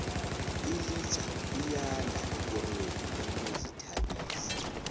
ilitjha liyanda ekorweni yezokuzithabisa